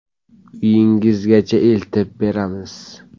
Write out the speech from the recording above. Uyingizgacha eltib beramiz!.